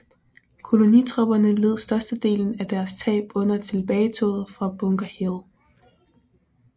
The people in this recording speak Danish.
Kolonitropperne led størstedelen af deres tab under tilbagetoget fra Bunker Hill